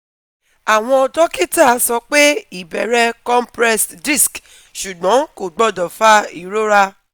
Àwọn dókítà sọ pé ìbẹ̀rẹ̀ compressed disc ṣùgbọ́n kò gbọ́dọ̀ fa ìrora